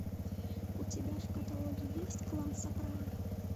у тебя в каталоге есть клан сопрано